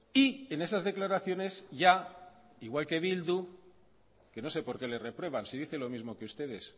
y en esas declaraciones ya igual que bildu que no sé por qué le reprueban si dice lo mismo que ustedes